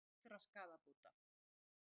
Munu krefjast fullra skaðabóta